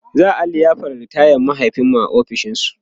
za'a liyafar ritayan mahaifinmu a ofishin su